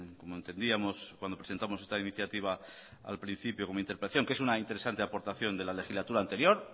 como entendíamos cuando presentamos esta iniciativa al principio como interpelación que es una interesante aportación de la legislatura anterior